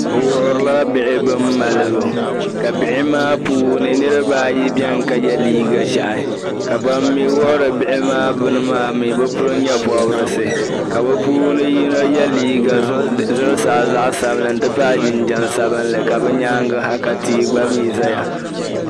bɛ wuhirila bihi bin malibu ka bihi maa puuni niriba ayi beni ka ye liiga ʒehi ka ban mi wuhiri bihi maa bini maa mi bɛ pili nye'pɔbirisi ka bɛ puuni yino ye liiga zuɣusaa zaɣ'sabinli n-pahi n-ti pahi jinjam zaɣ'sabinli ka bɛ nyaaŋa ha ka tia gba mi zaya